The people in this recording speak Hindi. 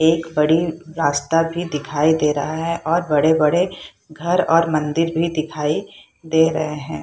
एक बड़ी रास्ता भी दिखाई दे रहा है और बड़े-बड़े घर और मंदिर भी दिखाई दे रहे हे।